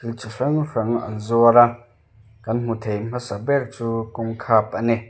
chi hrang hrang an zuar a kan hmu thei hmasa ber chu kawng khap ani.